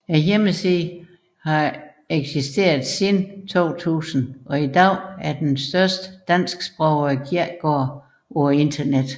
Hjemmesiden har eksisteret siden 2000 og i dag er den største dansksprogede kirkegård på internettet